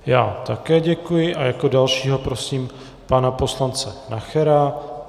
Já také děkuji a jako dalšího prosím pana poslance Nachera.